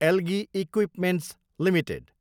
algae equipments Ltd